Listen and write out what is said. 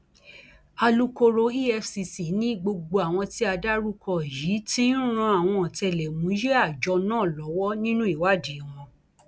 alūkkóró efcc ni gbogbo àwọn tí a dárúkọ yìí ti ń ran àwọn ọtẹlẹmúyẹ àjọ náà lọwọ nínú ìwádìí wọn